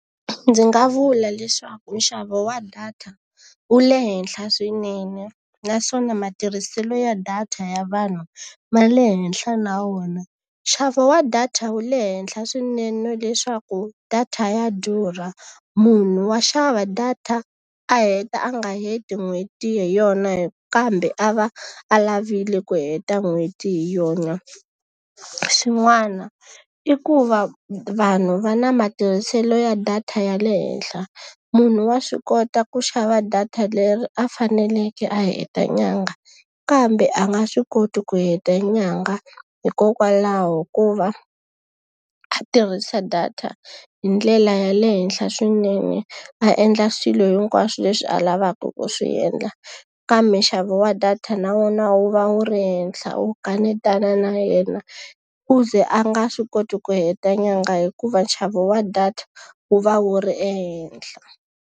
Ndzi nga vula leswaku nxavo wa data wu le henhla swinene, naswona matirhiselo ya data ya vanhu va le henhla na wona. Nxavo wa data wu le henhla swinene leswaku data ya durha, munhu wa xava data a heta a nga heti n'hweti hi yona kambe a va a lavile ku heta n'hweti hi yona. Xin'wana i ku va vanhu va na matirhiselo ya data ya le henhla. Munhu wa swi kota ku xava data leri a faneleke a heta nyangha, kambe a nga swi koti ku heta nyangha hikokwalaho ko va a tirhisa data hi ndlela ya le henhla swinene. A endla swilo hinkwaswo leswi a lavaka ku swi endla, kambe nxavo wa data na wona wu va wu ri henhla wu kanetana na yena. Ku ze a nga swi koti ku heta nyangha hikuva nxavo wa data wu va wu ri ehenhla.